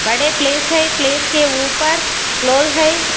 बड़े प्लेस हैं प्लेस के ऊपर क्लोज है।